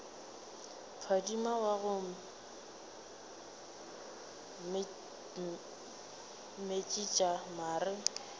phadima wa go metšiša mare